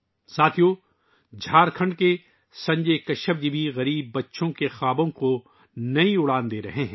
دوستو، جھارکھنڈ کے سنجے کشیپ جی بھی غریب بچوں کے خوابوں کو نئے پنکھ دے رہے ہیں